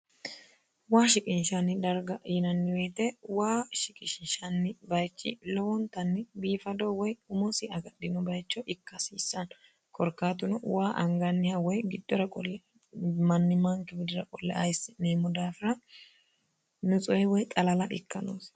waa shiqinshanni darga yinanniweete waa shiqisshanni bayichi lowoontanni biifadoo woy umosi agadhino bayicho ikkahsiissano korkaatuno waa anganniha woy giddora qolli mannimaanke gidira qolle eessi'neemmo daafira nuxuwe woy xalala ikka noosi